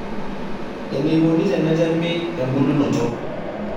Eneikoni tenetemi embulunoto.